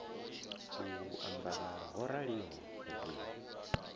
u ambara ho raliho ri